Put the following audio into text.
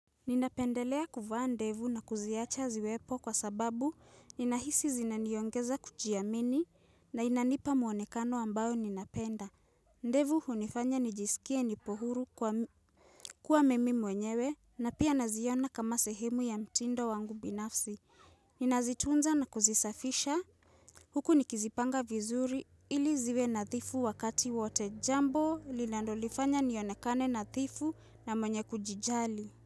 Ninapendelea kuvaa ndevu na kuziacha ziwepo kwa sababu ninahisi zinaniongeza kujiamini na inanipa muonekano ambao ninapenda. Ndevu hunifanya nijisikie nipo huru kuwa mimi mwenyewe na pia naziona kama sehemu ya mtindo wangu binafsi. Ninazitunza na kuzisafisha huku nikizipanga vizuri ili zive nadhifu wakati wote jambo lilandolifanya nionekane nadhifu na mwenye kujijali.